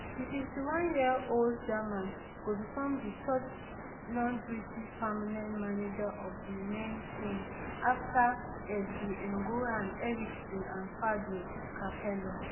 di fifty-oneyear old german go become di third non british permanent manager of di men team afta svn goran eriksson and fabio capello